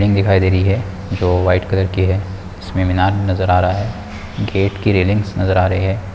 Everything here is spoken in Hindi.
रिंग दिखाई दे रही है जो वाईट कलर की है उसमें मीनार नजर आ रहा है गेट की रेलिंग्स नज़र आ रहे है।